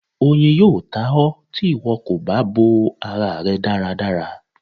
Oyin yóò tá ọ, tí ìwo kó bá bò ará rẹ dáradára.